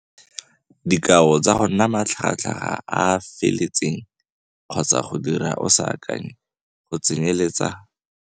Dikao tsa go nna matlhagatlhaga a a feteletseng kgotsa go dira o sa akanye go tsenyeletsa